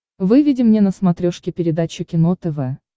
выведи мне на смотрешке передачу кино тв